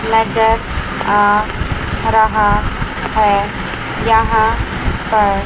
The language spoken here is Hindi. नजर आ रहा है यहां पर।